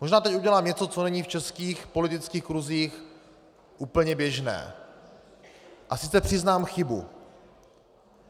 Možná teď udělám něco, co není v českých politických kruzích úplně běžné, a sice přiznám chybu.